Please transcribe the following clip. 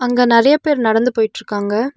அங்க நெறைய பேர் நடந்து போயிட்டுருக்காங்க.